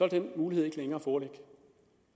den mulighed ikke længere foreligge